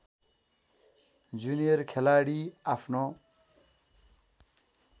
junior खेलाडी आफ्नो